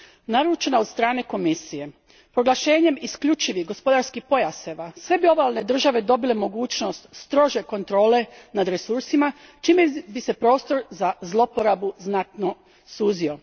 Naručena od strane Komisije, proglašenjem isključivih gospodarskih pojaseva sve bi obalne države dobile mogućnost strože kontrole nad resursima čime bi se prostor za zlouporabu znatno suzio.